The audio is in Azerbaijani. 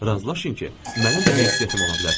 Razılaşın ki, mənim də heysiyyətim ola bilər.